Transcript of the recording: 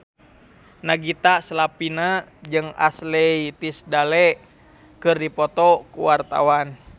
Nagita Slavina jeung Ashley Tisdale keur dipoto ku wartawan